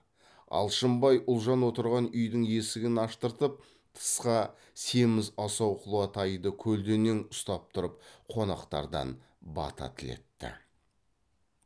алшынбай ұлжан отырған үйдің есігін аштырып тысқа семіз асау құла тайды көлденең ұстап тұрып қонақтардан бата тілетті